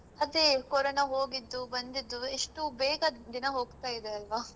ಅದೇ ಕೊರೊನ ಹೋಗಿದ್ದು ಬಂದಿದ್ದು ಎಷ್ಟು ಬೇಗ ದಿನ ಹೋಗ್ತಾ ಇದೆ ಅಲ್ವಾ.